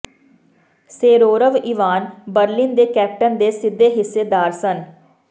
ਸੇਰਰੋਵ Ivan Berlin ਦੇ captain ਦੇ ਸਿੱਧੇ ਹਿੱਸੇਦਾਰ ਸਨ